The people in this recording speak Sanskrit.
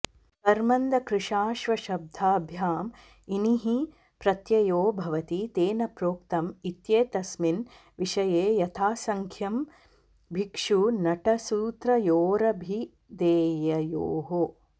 कर्मन्दकृशाश्वशब्दाभ्याम् इनिः प्रत्ययो भवति तेन प्रोक्तम् इत्येतस्मिन् विषये यथासङ्ख्यं भिक्षुनटसूत्रयोरभिधेययोः